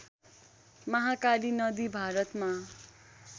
महाकाली नदी भारतमा